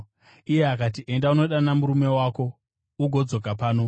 Iye akati, “Enda, undodana murume wako ugodzoka pano.”